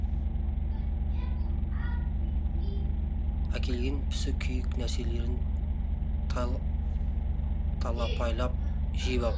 әкелген пісі күйік нәрселерін талапайлап жеп ап